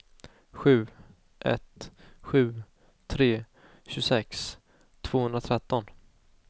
sju ett sju tre tjugosex tvåhundratretton